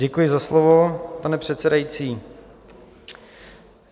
Děkuji za slovo, pane předsedající.